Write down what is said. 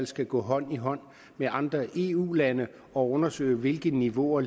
skal gå hånd i hånd med andre eu lande og undersøge hvilke niveauer